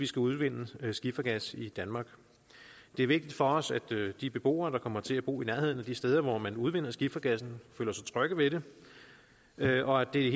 skal udvinde skifergas i danmark det er vigtigt for os at de beboere der kommer til at bo i nærheden af de steder hvor man udvinder skifergassen føler sig trygge ved det og at det